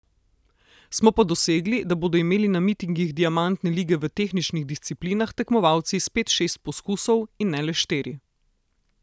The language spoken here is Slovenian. Smo pa dosegli, da bodo imeli na mitingih diamantne lige v tehničnih disciplinah tekmovalci spet šest poskusov in ne le štiri.